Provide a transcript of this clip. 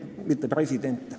No presidente mitte.